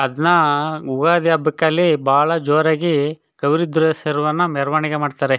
ಅದ್ನ ಉಗಾದಿ ಹಬ್ಬಕಲ್ಲಿ ಬಹಳ ಜೋರಾಗಿ ಕವಿರುದ್ರೆ ಶರವಣ ಮೆರವಣಿಗೆ ಮಾಡ್ತಾರೆ.